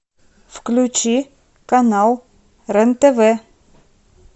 включи канал рен тв